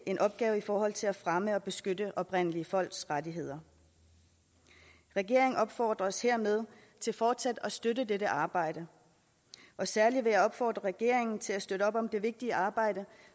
en opgave i forhold til at fremme og beskytte oprindelige folks rettigheder regeringen opfordres hermed til fortsat at støtte dette arbejde og særligt vil jeg opfordre regeringen til at støtte op om det vigtige arbejde